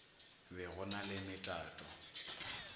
be go na le metato